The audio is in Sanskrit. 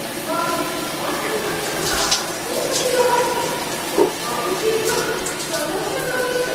अस्माकम् अपार्टमेण्ट्रक्षकः कोपशीलः अस्ति, बहु शीघ्रं सङ्घर्षं करोति च।